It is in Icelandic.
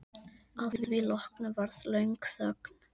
Að því loknu varð löng þögn.